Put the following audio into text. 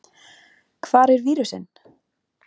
Hvar er vírusinn?